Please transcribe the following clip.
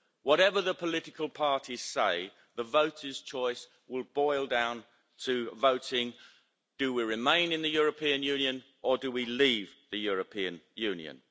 Whatever the political parties say, the voters' choice will boil down to voting do we remain in the European Union' or do we leave the European Union'.